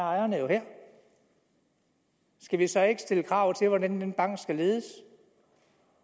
ejerne jo er her skal vi så ikke stille krav til hvordan den bank skal ledes